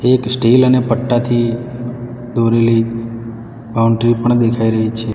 એક સ્ટીલ અને પટ્ટાથી દોરેલી બાઉન્ડ્રી પણ દેખાઈ રહી છે.